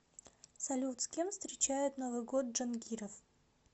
салют с кем встречает новый год джангиров